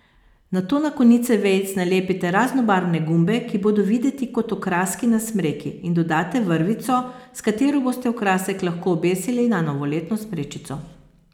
Nato na konice vejic nalepite raznobarvne gumbe, ki bodo videti kot okraski na smreki, in dodate vrvico, s katero boste okrasek lahko obesili na novoletno smrečico.